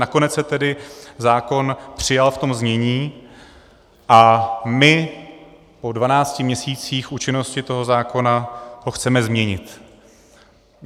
Nakonec se tedy zákon přijal v tom znění a my po dvanácti měsících účinnosti toho zákona ho chceme změnit.